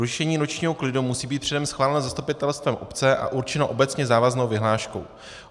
Rušení nočního klidu musí být předem schváleno zastupitelstvem obce a určeno obecně závaznou vyhláškou.